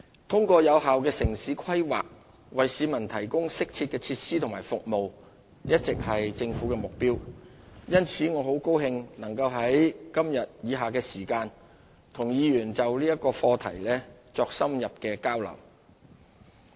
通過有效的城市規劃為市民提供適切的設施和服務一直是政府的目標，因此我很高興能在以下時間與議員們就此課題作深入交流。